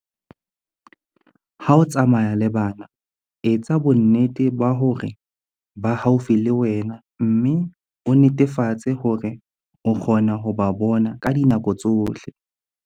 Ha o tsamaya le bana, etsa bonnete ba hore ba haufi le wena mme o netefatse hore o kgona ho ba bona ka dinako tsohle.